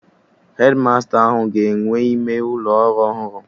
Hedmasta ahụ ga-enwe ime ụlọ ọrụ ọhụrụ